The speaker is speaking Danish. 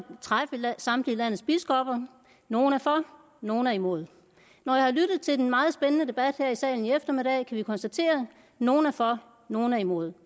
træffe samtlige landets biskopper og nogle er for nogle er imod når jeg har lyttet til den meget spændende debat her i salen i eftermiddag kan jeg konstatere at nogle er for nogle er imod